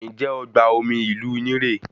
Njẹ ọgbà omi ìlú yín re?